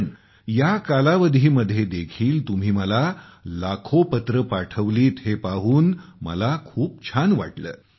पण या कालावधीमध्ये देखील तुम्ही मला लाखो पत्र पाठवलीत हे पाहून मला खूप छान वाटले